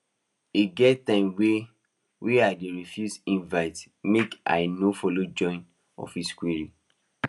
e get times wey wey i dey refuse invites make i no follow join office quarrel